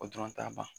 O dɔrɔn t'a ban